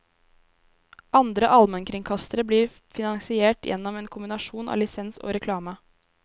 Andre allmennkringkastere blir finansiert gjennom en kombinasjon av lisens og reklame.